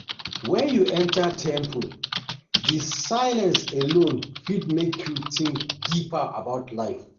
Wen you enter temple, the silence alone fit make you think deep about life.